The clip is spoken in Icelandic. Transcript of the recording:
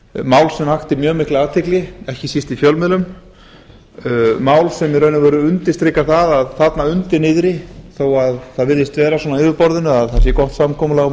mál sem vakti mjög mikla athygli ekki síst í fjölmiðlum mál sem í raun og veru undirstrikar það að þarna undir niðri þó að það virðist vera svona á yfirborðinu að það sé gott samkomulag á